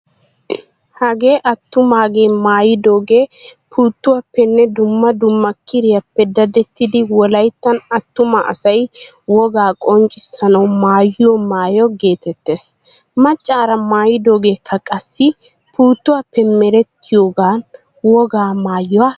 Hagee attumaagee maayidoogee puuttuwaappenne dumma dumma kiriyappe dadettidi wolayttan attuma asay wogaa qonccissanawu maayyiyo maayo geetettees. Maccara mayidogeekka qassi puuttuwaappe merettiyoogan wogaa maayuwaa geetettees.